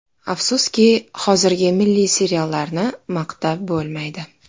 Afsuski, hozirgi milliy seriallarni maqtab bo‘lmaydi.